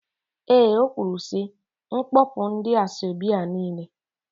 Eé, o kwuru sị, kpọpụ ndị asọebi a niile.